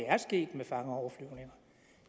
at det med fangeoverflyvninger